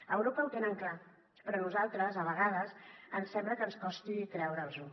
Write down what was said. a europa ho tenen clar però a nosaltres a vegades ens sembla que ens costi creure’ns·ho